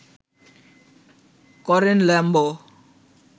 করেন ল্যাম্ব